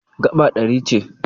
Gaba ɗari ce.